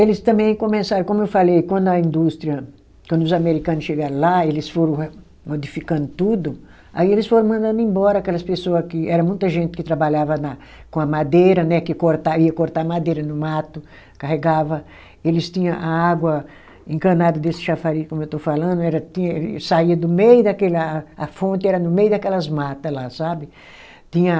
eles também começaram, como eu falei, quando a indústria, quando os americano chegaram lá, eles foram re modificando tudo, aí eles foram mandando embora aquelas pessoa que, era muita gente que trabalhava na com a madeira né, que corta ia cortar madeira no mato, carregava, eles tinha a água encanada desse chafariz, como eu estou falando, era tinha ele saía do meio daquele lá, a fonte era no meio daquelas mata lá, sabe? Tinha